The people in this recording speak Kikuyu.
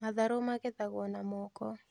Matharũ magethagwo na moko